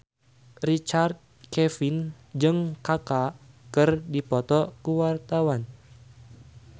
Richard Kevin jeung Kaka keur dipoto ku wartawan